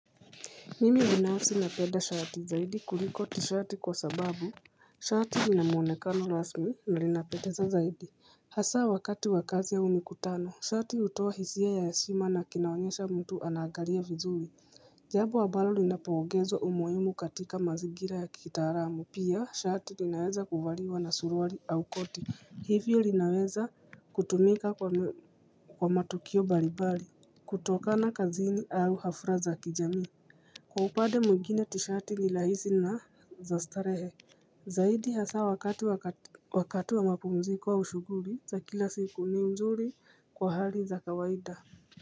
Mimi binafsi napenda shati zaidi kuliko tishati kwa sababu Shati linamuonekano rasmi na linapendeza zaidi Hasa wakati wa kazi au mikutano shati hutoa hisia ya heshima na kinaonyesha mtu anaagalia vizuri Jambo ambalo linapoongezwa umuhimu katika mazingira ya kitaalamu pia shati linaweza kuvaliwa na suruali au koti hivyo linaweza kutumika kwa matukio mbalimbali kutokana kazini au hafla za kijamii Kwa upande mwingine tishati ni rahisi na za starehe Zaidi hasa wakati wa mapumziko wa au shughuli za kila siku ni mzuri kwa hali za kawaida.